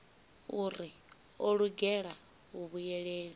uri o lugela u vhuyelela